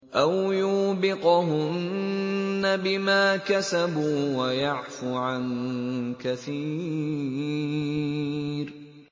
أَوْ يُوبِقْهُنَّ بِمَا كَسَبُوا وَيَعْفُ عَن كَثِيرٍ